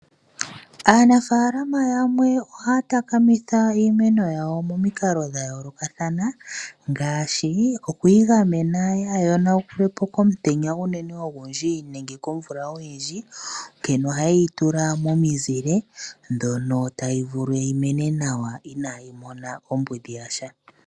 Aanafaalaama yamwe ohaya takamitha iimeno yawo momikalo dha yoolokathana ngaashi okuyi gamena kaayi yonuke po komutenya ogundji unene nenge komvula oyindji. Ohaye yi tula momizile mono tayi vulu yi mene nawa inayi mona ombudhi ya sha.